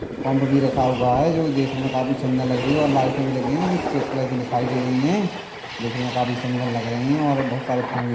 pump भी रखा हुआ है जो देखने मे काफी सुंदर लग रही है और लाइटे भी लगी हुई है जो की सफेद कलर की दिखाई दे रही है देखने मे काफी सुंदर लग रही है और बहुत सारे --